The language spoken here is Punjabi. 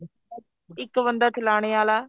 ਇੱਕ ਬੰਦਾ ਚਲਾਣੇ ਆਲਾ